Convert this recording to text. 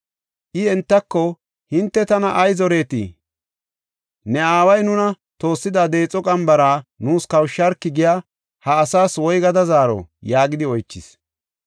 I entako, “Hinte tana ay zoretii? ‘Ne aaway nuna toossida deexo qambara nuus kawusharki’ giya ha asaas woygada zaaro?” yaagidi oychis.